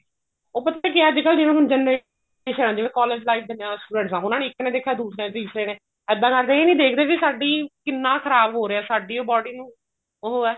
ਉਹ ਪਤਾ ਕਿਆ ਹੈ ਅੱਜਕਲ ਜਿਵੇਂ generation ਹੈ ਜਿਵੇਂ collage life ਦੇ student ਐ ਉਹਨਾ ਨੇ ਇੱਕ ਨੇ ਦੇਖਿਆ ਦੂਸਰੇ ਨੇ ਤੀਸਰੇ ਨੇ ਇੱਦਾਂ ਕਰਕੇ ਇਹ ਨਹੀਂ ਦੇਖਦੇ ਵੀ ਸਾਡੀ ਕਿੰਨਾ ਖ਼ਰਾਬ ਹੋ ਰਿਹਾ ਵੀ ਸਾਡੀ ਓ body ਨੂੰ ਉਹ ਹੈ